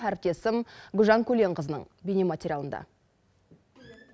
әріптесім гүлжан көленқызының бейне материалында